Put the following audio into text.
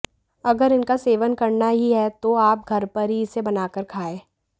अगर इनका सेवन करना ही है तो आप घर पर ही इसे बनाकर खाएं